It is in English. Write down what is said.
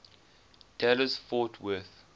dallas fort worth